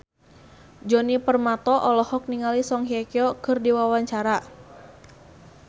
Djoni Permato olohok ningali Song Hye Kyo keur diwawancara